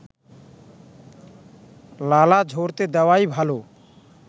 লালা ঝরতে দেওয়াই ভালো